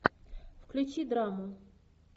включи драму